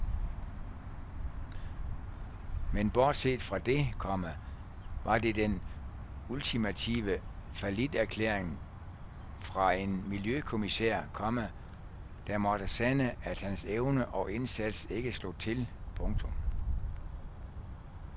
Men bortset fra det, komma var det den ultimative falliterklæring fra en miljøkommissær, komma der måtte sande at hans evne og indsats ikke slog til. punktum